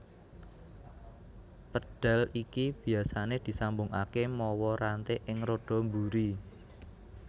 Pédhal iki biasané disambungaké mawa ranté ing roda mburi